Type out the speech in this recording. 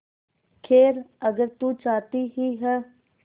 खैर अगर तू चाहती ही है